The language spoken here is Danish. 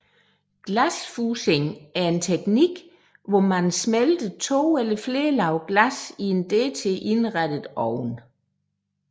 Glasfusing er en teknik hvor man smelter to eller flere lag glas i en dertil indrettet ovn